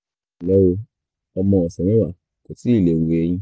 ẹnlẹ́ o ọmọ ọ̀sẹ̀ mẹ́wàá kò tíì le hu eyín